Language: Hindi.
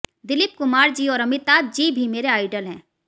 दिलीप कुमार जी और अमिताभ जी भी मेरे आइडल हैं